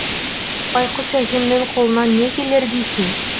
байқұс әкемнің қолынан не келер дейсің